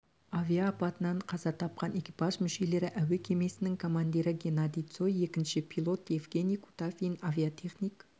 авиа апатынан қаза тапқан экипаж мүшелері әуе кемесінің командирі геннадий цой екінші пилот евгений кутафин авиатехник